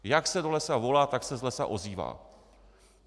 Jak se do lesa volá, tak se z lesa ozývá.